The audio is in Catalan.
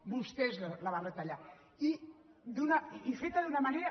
vostès la van retallar i fet d’una manera